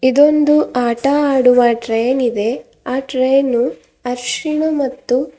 ಇದೊಂದು ಆಟ ಆಡುವ ಟ್ರೈನ್ ಇದೆ ಆ ಟ್ರೈನು ಹರಿಶಿನ ಮತ್ತು--